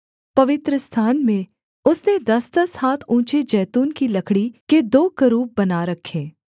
पवित्रस्थान में उसने दसदस हाथ ऊँचे जैतून की लकड़ी के दो करूब बना रखे